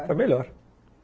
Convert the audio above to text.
Foi melhor.